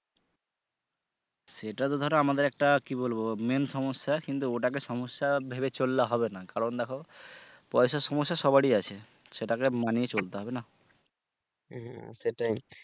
এটা তো ধরো আমাদের একটা কি বলবো main সমস্যা কিন্তু ওটাকে সমস্যা ভেবে চললে হবে না কারন দেখো পয়সার সমস্যা সবারই আছে সেটাকে মানিয়ে চলতে হবে না!